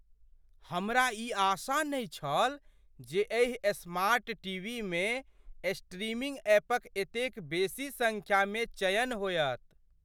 हमरा ई आशा नहि छल जे एहि स्मार्ट टीवीमे स्ट्रीमिंग ऐपक एतेक बेसी संख्या मे चयन होयत!